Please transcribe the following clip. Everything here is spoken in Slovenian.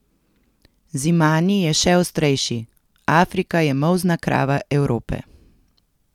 Zimani je še ostrejši: 'Afrika je molzna krava Evrope.